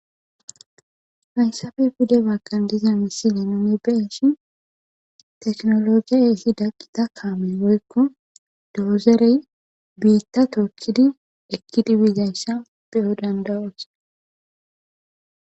hayssafe pide bagkan diza missine nune beshi teknologiya eehi daqqita kaamey woykko doozerey biitta tookkidi ekkidi biigayssa beyo dandawoos